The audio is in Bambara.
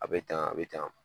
A be tan, a be tan.